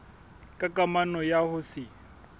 ka kamano ya ho se